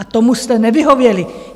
A tomu jste nevyhověli.